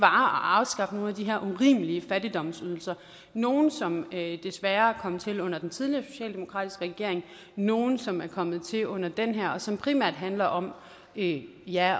afskaffe nogle af de her urimelige fattigdomsydelser nogle som desværre er kommet til under den tidligere socialdemokratiske regering nogle som er kommet til under den her og som primært handler om ja